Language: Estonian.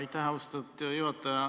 Aitäh, austatud juhataja!